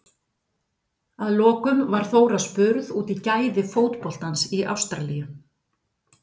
Að lokum var Þóra spurð út í gæði fótboltans í Ástralíu?